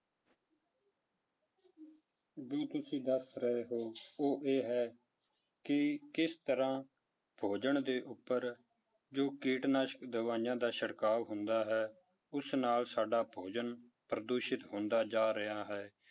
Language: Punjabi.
ਜੋ ਤੁਸੀਂ ਦੱਸ ਰਹੇੇ ਹੋ ਉਹ ਇਹ ਹੈ ਕਿ ਕਿਸ ਤਰ੍ਹਾਂ ਭੋਜਨ ਦੇ ਉੱਪਰ ਜੋ ਕੀਟਨਾਸ਼ਕ ਦਵਾਈਆਂ ਦਾ ਛਿੜਕਾਅ ਹੁੰਦਾ ਹੈ, ਉਸ ਨਾਲ ਸਾਡਾ ਭੋਜਨ ਪ੍ਰਦੂਸ਼ਿਤ ਹੁੰਦਾ ਜਾ ਰਿਹਾ ਹੈ